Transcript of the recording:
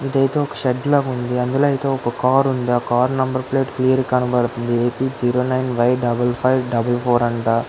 ఇదైతే ఒక షెడ్ లో ఉంది అందులో ఒక కారు ఉంది ఆ కార్ నంబర్ ప్లేట్ చాలా క్లియర్ గా కనిపిస్తుంది AP zero nine Y nine nine four four అంట.